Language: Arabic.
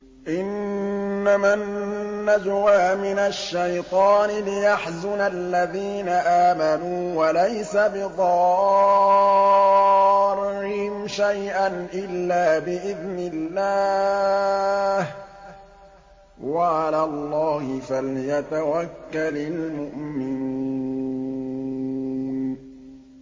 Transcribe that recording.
إِنَّمَا النَّجْوَىٰ مِنَ الشَّيْطَانِ لِيَحْزُنَ الَّذِينَ آمَنُوا وَلَيْسَ بِضَارِّهِمْ شَيْئًا إِلَّا بِإِذْنِ اللَّهِ ۚ وَعَلَى اللَّهِ فَلْيَتَوَكَّلِ الْمُؤْمِنُونَ